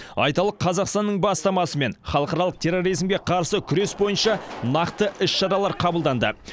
айталық қазақстанның бастамасымен халықаралық терроризмге қарсы күрес бойынша нақты іс шаралар қабылданды